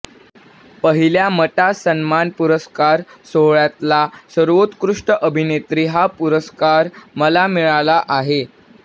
पहिल्या मटा सन्मान पुरस्कार सोहळ्यातला सर्वोत्कृष्ट अभिनेत्री हा पुरस्कार मला मिळाला आहे